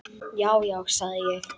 Já, já, sagði ég.